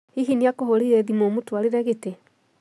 Hihi nĩakũhũrĩire thimũũmũtwarĩre gĩtĩ?